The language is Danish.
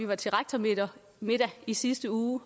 var til rektormiddag i sidste uge